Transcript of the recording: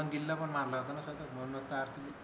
शुभमन गिलने पण मारल असत ना शतक म्हणून च तर अर्शदीप